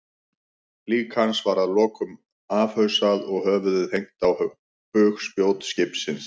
Lík hans var að lokum afhausað og höfuðið hengt á bugspjót skipsins.